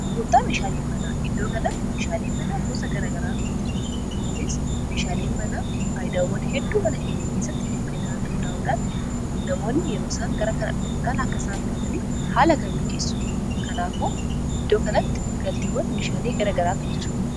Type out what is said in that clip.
Gurgurtaa meeshaaleen manaa iddoo kanatti meeshaalee manaa gosa garagaraatu jira. kunis meeshaaleen manaa faayidaawwan hedduu mana keenya keessatti nuf keennanirratti hundaa'uudhaan namoonni yeroo isaa gara kana dhufuudhaan akkasaan bitataniif haala kan mijeessuudha. kanaafuu iddoo kanatti galteewwan meeshaalee garagaraatu jira.